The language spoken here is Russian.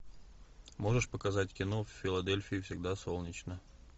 можешь показать кино в филадельфии всегда солнечно